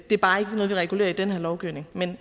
er bare ikke noget vi regulerer i den her lovgivning men